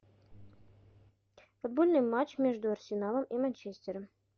футбольный матч между арсеналом и манчестером